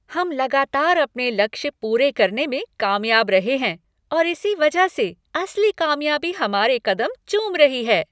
हम लगातार अपने लक्ष्य पूरे करने में कामयाब रहे हैं और इसी वजह से असली कामयाबी हमारे कदम चूम रही है।